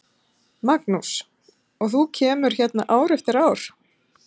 Magnús: Og þú kemur hérna ár eftir ár?